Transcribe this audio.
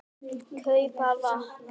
. kaupa vatn.